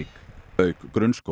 auk grunnskóla